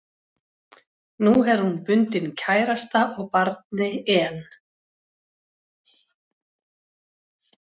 Nú er hún bundin kærasta og barni en